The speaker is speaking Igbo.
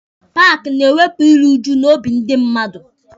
Paaki na-ewepụ iru uju n'obi ndị mmadụ.